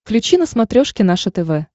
включи на смотрешке наше тв